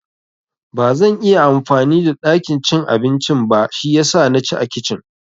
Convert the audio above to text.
Bazan iya amfani da ɗakin cin abincin ba shiyasa na ci a kicin